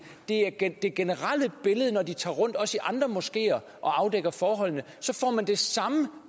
det er det generelle billede når de tager rundt også i andre moskeer og afdækker forholdene så får man det samme